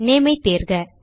name ஐ தேர்க